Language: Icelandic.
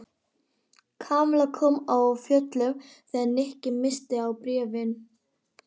Kamilla kom af fjöllum þegar Nikki minntist á bréfin.